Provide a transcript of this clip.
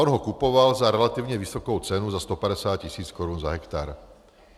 On ho kupoval za relativně vysokou cenu, za 150 tisíc korun za hektar.